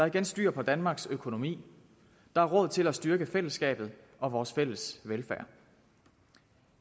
igen styr på danmarks økonomi der er råd til at styrke fællesskabet og vores fælles velfærd